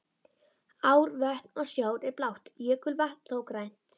Ár, vötn og sjór er blátt, jökulvatn þó grænt.